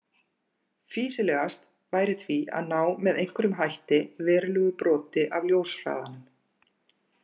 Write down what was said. Fýsilegast væri því að ná með einhverjum hætti verulegu broti af ljóshraðanum.